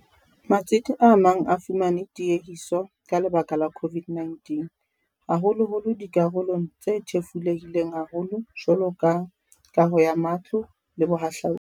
Matsete a mang a fumane tiehiso ka lebaka la COVID-19, haholoholo dikarolong tse thefulehileng haholo jwalo ka kaho ya matlo le bohahlaodi.